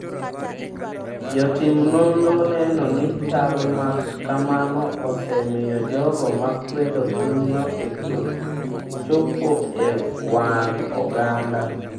Jotim nonro neno ni chal ma kamano osemiyo jogo ma kwedo pinyno chopo e wang’ oganda.